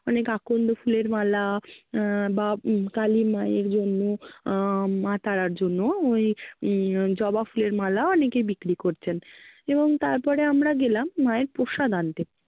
মানে কাকন্দ ফুলের মালা আহ বা কালী মায়ের জন্য আহ মা তারার জন্য ওই উম জবা ফুলের মালা অনেকেই বিক্রি করছেন, এবং তারপরে আমরা গেলাম মায়ের প্রসাদ আনতে।